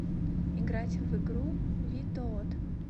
играть в игру витоот